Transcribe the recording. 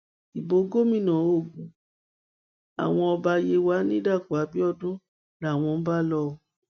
ibo gómìnà ogun àwọn ọba yewa ní dàpọ abiodun làwọn ń bá lò ó